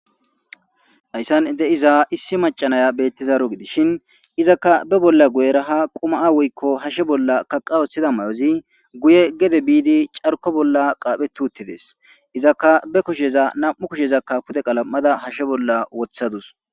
Hayssan de7iza issi macanaya bettizaaro gidishin izakka be bolla guyeraha qumaa woykko hashe bolla kaqa woththida may7ozi guye gede biidi carko bolla qaaphe tuttides izakka be kusheza nam7u kushezakka pude qalam7ada hashshe bolla wothadusS.